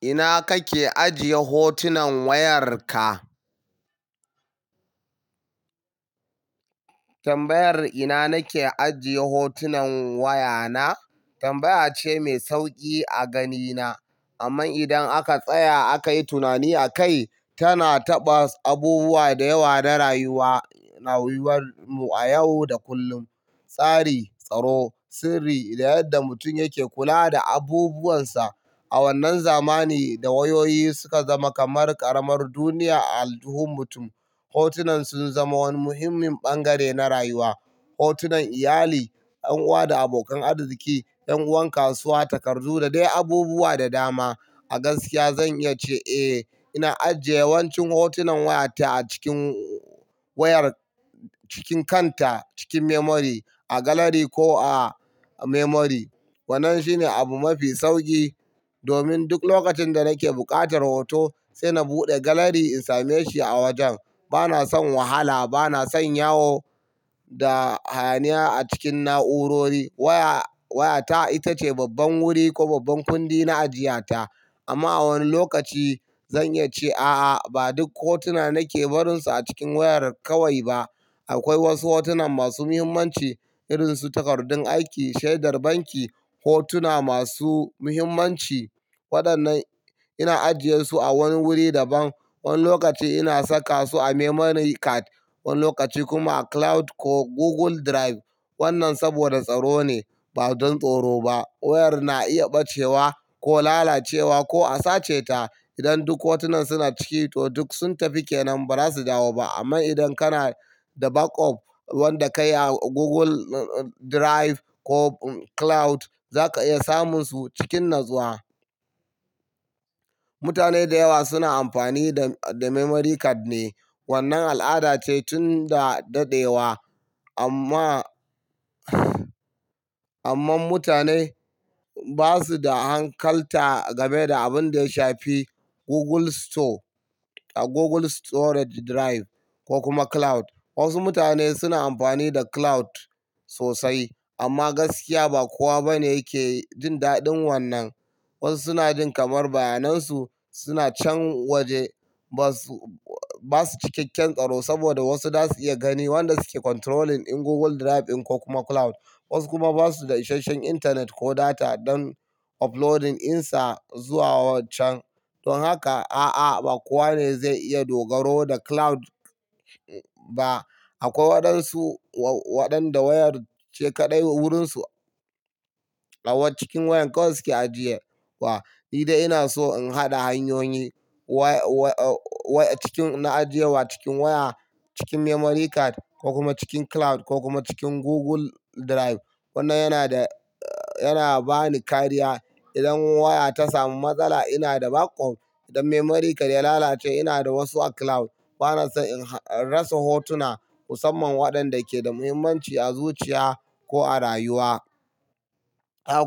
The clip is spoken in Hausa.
Ina kake ajiye hotunan wayarka? Tambayar "ina nake ajiye hotunan wayana?" tambaya ce mai sauki a ganina. Amma idan aka tsaya akai tunani akai, tana taɓa abubuwa da yawa na rayuwar mu a yau da kullum. Tsari, tsaro, sirri da yadda mutum yake kula da abubuwansa. A wannan zamani da wayoyi suka zama kamar ƙaramar duniya a aljihun mutum, hotunan sun zama wani muhimmin bangare na rayuwa. Hotunan iyali, ƴan uwa da abokan arziki, ƴan uwan kasuwa, takardu da dai abubuwa da dama. A gaskiya zan iya ce, "Eh, ina ajiye yawancin hotunan wayata a cikin wayar cikin kanta, cikin memory a gallery ko a memory." Wannan shine abu mafi sauki domin duk lokacin da nake buƙatar hoto sai na buɗe gallery in same shi a wajen. Bana son wahala, bana son yawo da hayaniya a cikin na'urori. Wayata ita ce babban wuri ko babban kundi na ajiya ta. Amma a wani lokaci zan iya ce, "A'a, ba duk hotuna nake barinsu a cikin wayar kawai ba." Akwai wasu hotunan masu muhimmanci irinsu takardun aiki, shaidar banki, hotuna masu muhimmanci. Waɗannan ina ajiyesu a wani wuri daban. Wani lokaci ina saka su a memory card, wani lokaci kuma a cloud ko Google Drive. Wannan saboda tsaro ne ba don tsoro ba. Wayar na iya ɓacewa ko lalacewa ko a sace ta. Idan duk hotunan suna ciki toh duk sun tafi kenan ba za su dawo ba. Amma idan kana da backup wanda ka yi a Google Drive ko cloud, za ka iya samun su cikin natsuwa. Mutane da yawa suna amfani da memory card ne. Wannan al'ada ce tun da dadewa amma, amma mutane ba su da hankalta game da abin da ya shafi Google Store, Google Storage Drive ko kuma cloud. Wasu mutane suna amfani da cloud sosai amma gaskiya ba kowa bane yake jin daɗin wannan. Wasu suna jin kamar bayanansu suna can waje ba su, ba su cikeken tsaro saboda wasu za su iya gani wanda suke controlling in Google Drive ɗin ko kuma cloud. Wasu kuma ba su da isashen intanet ko data don uploading ɗinsa zuwa wancan. Don haka, a'a, ba kowa ne zai iya dogaro da cloud ba. Akwai waɗansu waɗanda wayar ce kaɗai wurinsu tsawon cikin wayan kawai suke ajiye wa. Ni dai ina so in haɗa hanyoyi. Cikin na ajiyewa cikin waya, cikin memory card ko kuma cikin cloud ko kuma cikin Google Drive. Wannan yana da, yana bani kariya. Idan waya ta samu matsala ina da backup. Idan memory card ya lalace ina da wasu a cloud. Bana son in rasa hotuna husamman waɗanda ke da muhimmanci a zuciya ko a rayuwa.